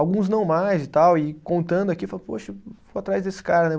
Alguns não mais e tal, e contando aqui, eu falo, poxa, vou atrás desse cara, né?